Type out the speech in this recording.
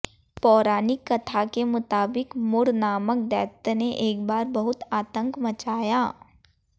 पौराणिक कथा के मुताबिक मुर नामक दैत्य ने एक बार बहुत आतंक मचाया